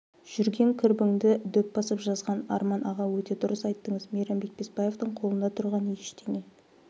жүрген кірбіңді дөп басып жазған арман аға өте дұрыс айттыңыз мейрамбек беспаевтың қолында тұрған ештеңе